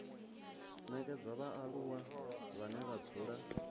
nekedzwa vhaaluwa vhane vha dzula